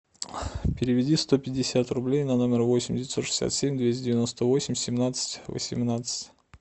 переведи сто пятьдесят рублей на номер восемь девятьсот шестьдесят семь двести девяносто восемь семнадцать восемнадцать